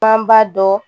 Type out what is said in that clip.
An b'a dɔ